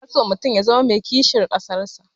Ana so mutum ya zama mai kishin ƙasar shi.